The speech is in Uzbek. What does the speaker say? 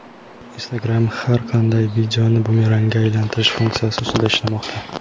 Instagram har qanday videoni bumerangga aylantirish funksiyasi ustida ishlamoqda.